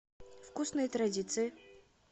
вкусные традиции